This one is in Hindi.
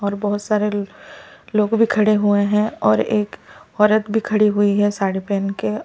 और बहुत सारे लोग भी खड़े हुए हैं और एक औरत भी खड़ी हुई है साड़ी पहन के--